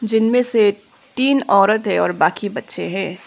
जीनमें से तीन औरत है और बाकी बच्चे हैं।